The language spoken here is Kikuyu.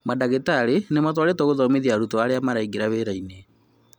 Madagĩtarĩ nĩmatarĩtwo gũthomithia arutwo arĩa maraingira wĩra-inĩ